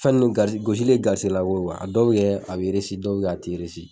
Fɛn nun gari gosili gasisɛgɛ lako ye a dɔw bɛ kɛ a bɛ a dɔw la a tɛ